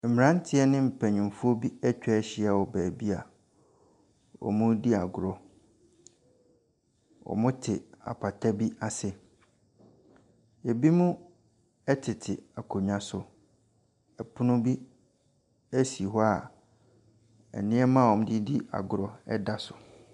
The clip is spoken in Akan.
Mmeranteɛ ne mpanimfoɔ bi atwa ahyia wɔ baabi awɔredi agorɔ. Wɔte apata bi ase. Ebinom tete akonnwa so. Pono bi si hɔ a nneɛma a wɔde di agorɔ da so.